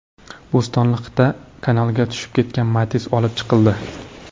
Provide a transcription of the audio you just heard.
Bo‘stonliqda kanalga tushib ketgan Matiz olib chiqildi.